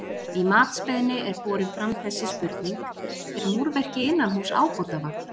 Í matsbeiðni er borin fram þessi spurning: Er múrverki innanhúss ábótavant?